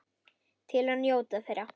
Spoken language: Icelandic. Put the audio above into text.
Til að njóta þeirra.